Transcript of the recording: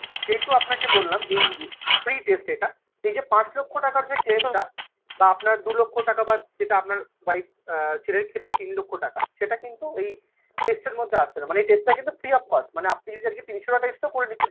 যেহেতু আপনাকে বললাম এই free test এটা এই যে পাঁচ লক্ষ টাকার যে claim টা বা আপনার দু লক্ষ টাকা বা যেটা আপনার wife আ ছেলের ক্ষেত্রে তিন লক্ষ টাকা সেটা কিন্তু এই test র মধ্যে আসছে না। মানে এই test টা কিন্তু free of cost মানে আপনি যদি আজকে তিনশোটা test ও করে নিচ্ছেন